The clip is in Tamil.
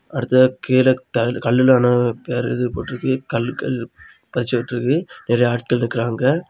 அடுத்ததா கீழ தரைல கல்லுல ஆனா பேர போட்ருக்கு கல்லு கல்லு பதிச்சுட்ருக்கு நெறைய ஆட்கள் நிக்கறாங்க.